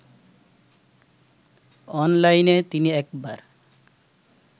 অনলাইনে তিনি একবার